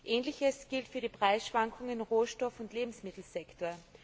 Ähnliches gilt für die Preisschwankungen im Rohstoff und Lebensmittelsektor.